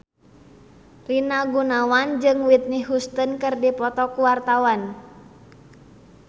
Rina Gunawan jeung Whitney Houston keur dipoto ku wartawan